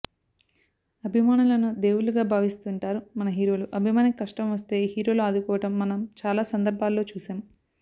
అభిమానులను దేవుళ్లుగా భావిస్తుంటారు మన హీరోలు అభిమానికి కష్టం వస్తే హీరోలు ఆదుకోవడం మనం చాలా సందర్భాల్లో చూసాం